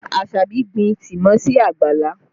Asabi gbin tìmọ́ sí àgbàlá